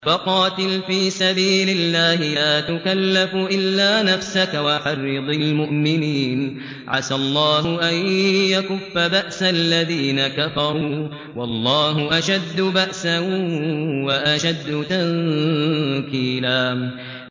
فَقَاتِلْ فِي سَبِيلِ اللَّهِ لَا تُكَلَّفُ إِلَّا نَفْسَكَ ۚ وَحَرِّضِ الْمُؤْمِنِينَ ۖ عَسَى اللَّهُ أَن يَكُفَّ بَأْسَ الَّذِينَ كَفَرُوا ۚ وَاللَّهُ أَشَدُّ بَأْسًا وَأَشَدُّ تَنكِيلًا